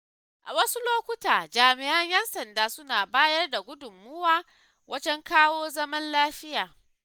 A wasu lokutan jami'an 'yan sanda suna bayar da gudunmawa wajen kawo zaman lafiya.